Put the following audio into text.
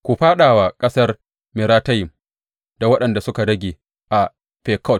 Ku fāɗa wa ƙasar Meratayim da waɗanda suke zama a Fekod.